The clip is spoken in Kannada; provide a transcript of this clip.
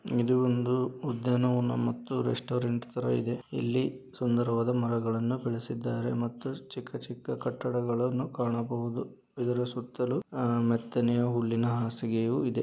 ಇದು ಒಂದು ಉದ್ಯಾನವನ ಮತ್ತು ಒಂದು ರೆಸ್ಟೋರೆಂಟ್ ತರ ಇದೆ. ಇಲ್ಲಿ ಸುಂದರವಾದ ಮರಗಳನ್ನು ಬೆಳೆಸಿದ್ದಾರೆ ಮತ್ತು ಚಿಕ್ಕ ಚಿಕ್ಕ ಕಟ್ಟಡಗಳನ್ನು ಕಾಣಬಹುದು. ಇದರ ಸುತ್ತಲೂ ಆಹ್ ಮೆತ್ತನೆಯ ಹುಲ್ಲಿನ ಹಾಸಿಗೆಯು ಇದೆ.